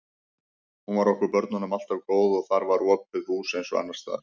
Hún var okkur börnunum alltaf góð og þar var opið hús eins og annars staðar.